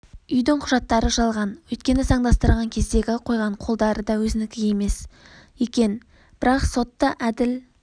үйдің құжаттары жалған өйткені заңдастырған кездегі қойған қолдары да өзінікі емес екен бірақ сот та әділ